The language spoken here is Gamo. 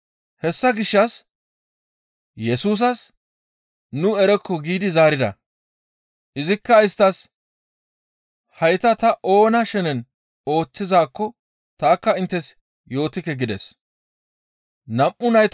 Hessa gishshas Yesusas, «Nu erokko» giidi zaarida. Izikka isttas, «Hayta ta oona shenen ooththizaakko tanikka inttes yootikke» gides.